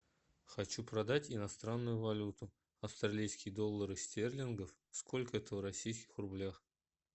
хочу продать иностранную валюту австралийские доллары стерлингов сколько это в российских рублях